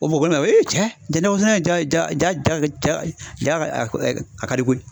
Bamakɔ kɔnɔ yan ja nɔkɔ sɛnɛ ja ja ja ja ja a ka di koyi